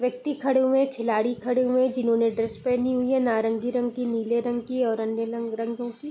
व्यक्ति खड़े हुए हैं खिलाड़ी खड़े हुए हैं जिन्होंने ड्रेस पहनी हुई है नारंगी रंग की नीले रंग की और अन्य रंग रंगो की।